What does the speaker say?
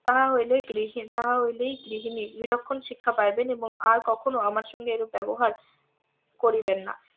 তাহা হইলে তাহা হইলেই গৃহিনী বিলক্ষণ শিক্ষা পাইবেন এবং আর কখনো আমার সঙ্গে এরূপ ব্যবহার করিবেন না